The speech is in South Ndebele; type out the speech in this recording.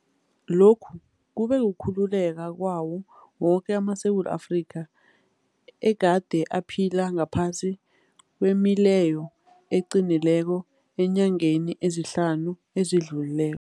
Lokhu kube kukhululeka kwawo woke amaSewula Afrika egade aphila ngaphasi kwemileyo eqinileko eenyangeni ezihlanu ezidlulileko.